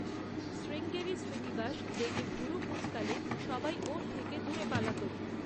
শ্রীঙ্গেরি শ্রীনিবাস রেগে ভুরু কুঁচকালে সবাই ওর থেকে দূরে পালাত।